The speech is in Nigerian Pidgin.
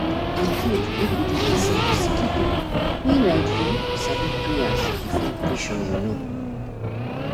e gud make we dey lis ten to sicki pipu wen like u sabi prayas before operation u know.